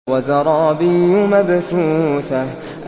وَزَرَابِيُّ مَبْثُوثَةٌ